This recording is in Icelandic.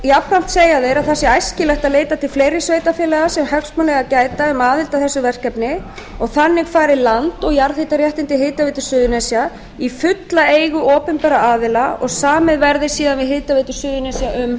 jafnframt segja þeir að það sé æskilegt að leita til fleiri sveitarfélaga sem hagsmuna eiga að gæta um aðild að þessu verkefni og þannig fari land og jarðhitaréttindi hitaveitu suðurnesja í fulla eigu opinberra aðila og samið verði síðan við hitaveitu suðurnesja um